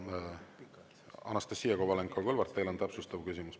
Anastassia Kovalenko-Kõlvart, teil on täpsustav küsimus.